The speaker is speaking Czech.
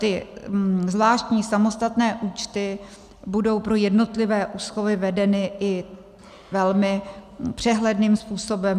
Ty zvláštní samostatné účty budou pro jednotlivé úschovy vedeny i velmi přehledným způsobem.